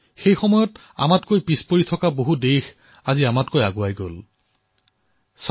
সেই সময়ত বহু দেশ আমাতকৈ পিছত আছিল